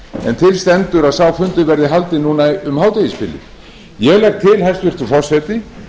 en til stendur að sá fundur verði haldinn núna um hádegisbilið ég legg til hæstvirtur forseti